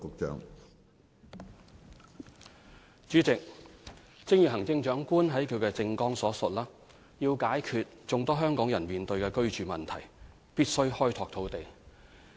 主席，正如行政長官在她的政綱所述，要解決眾多香港人面對的居住問題，必須開拓土地。